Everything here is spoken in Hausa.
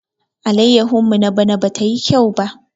Allayahun mu na bana ba tayi kyau ba.